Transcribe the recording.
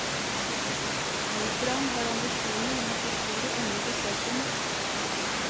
Operaen har ambisjoner om å få flere unge besøkende.